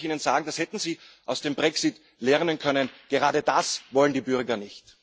Aber das kann ich Ihnen sagen Das hätten Sie aus dem Brexit lernen können gerade das wollen die Bürger nicht.